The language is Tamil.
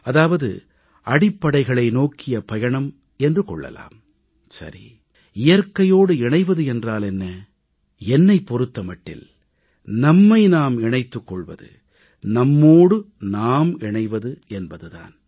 அதாவது அடிப்படைகளை நோக்கிய பயணம் என்று கொள்ளலாம் சரி இயற்கையோடு இணைவது என்றால் என்ன என்னைப் பொறுத்த மட்டில் நம்மை நாம் இணைத்துக் கொள்வது நம்மோடு நாம் இணைவது என்பது தான்